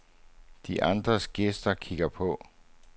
De andre gæster kigger på.